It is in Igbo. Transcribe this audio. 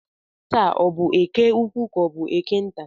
Taa ọ bụ eke ukwu ka ọ bụ eke nta?